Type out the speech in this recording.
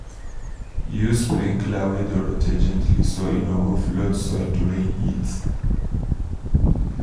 use sprinkler wey dey rotate gently so e no go flood soil during heat.